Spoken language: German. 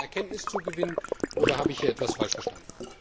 War das ein Erkenntniszugewinn, oder habe ich hier etwas falsch verstanden?